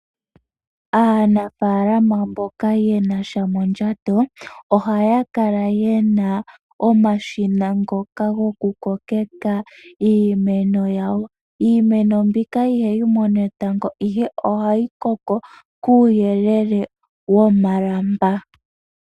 Aanafaalama mboka ye nasha mondjato, ohaya kala ye na omashina ngoka goku kokeka iimeno yawo. Iimeno mbika ihayi mono etango ihe ohayi koko kuuyelele womalamba.